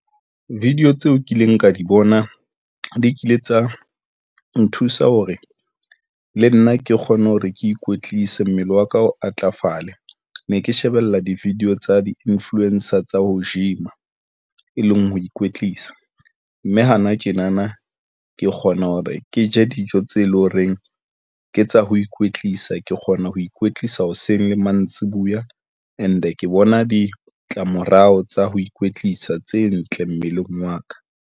Video tseo kileng ka di bona di kile tsa nthusa hore le nna ke kgone hore ke ikwetlise. Mmele wa ka o atlafale ne ke shebella di-video tsa di-influencer tsa ho gym-a e leng ho ikwetlisa mme hana tjenana, ke kgona hore ke je dijo tse leng horeng ke tsa ho ikwetlisa, ke kgona ho ikwetlisa hoseng le mantsiboya and-e ke bona ditlamorao tsa ho ikwetlisa tse ntle mmeleng wa ka.